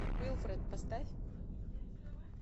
уилфред поставь